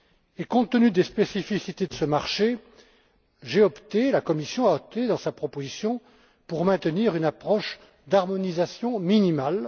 Et compte tenu des spécificités de ce marché, j'ai opté, et la Commission a opté, dans sa proposition, pour le maintien d'une approche d'harmonisation minimale.